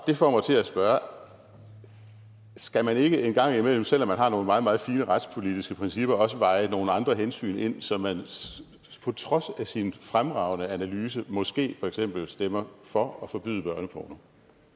får mig til at spørge skal man ikke engang imellem selv om man har nogle meget meget fine retspolitiske principper også veje nogle andre hensyn ind så man på trods af sin fremragende analyse måske for eksempel stemmer for at forbyde børneporno